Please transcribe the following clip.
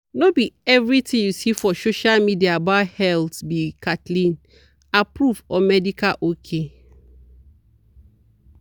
no be everything you see for social media about health be kathleen-approved or medical ok.